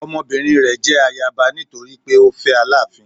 Ọmọbinrin rẹ jẹ ayaba nitori pe o fẹ Alaafin